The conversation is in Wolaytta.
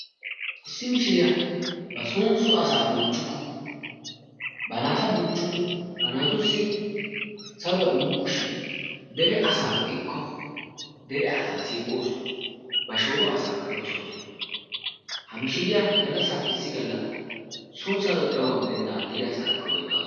Issi mishiriya bason so asaa bonchchukku ba naata bonchchukku ba naatussi saruwa immukku shin dere asaa be"ikko dere asaa siiqawusu ba shooro asaakka dosawus ha mishiriya gallassaappe issi galla son saroyi xayoogaappe denddaagan dere asaarakka ooyettaasu.